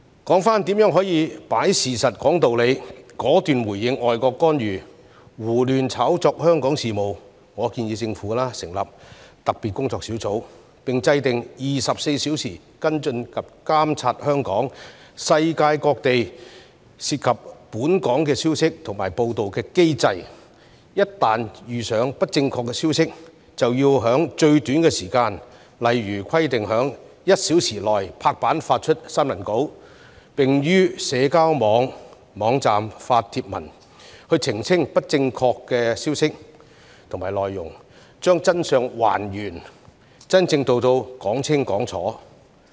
說回如何可以"擺事實，講道理"，果斷回應外國干預、胡亂炒作香港事務，我建議政府成立特別工作小組，並制訂24小時跟進及監察香港、世界各地涉及本港的消息及報道的機制，一旦發現不正確的消息，便要在最短時間，例如規定於1小時內拍板發出新聞稿，並於社交網站發帖文，澄清不正確的消息和內容，將真相還原，真正做到"講清講楚"。